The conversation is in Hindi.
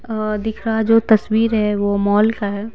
अ दिख रहा जो तस्वीर है वो मॉल का है।